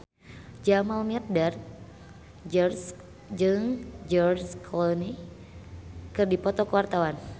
Jamal Mirdad jeung George Clooney keur dipoto ku wartawan